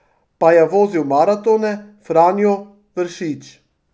Pa je vozil maratone, Franjo, Vršič ...